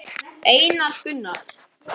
Einar Gunnar.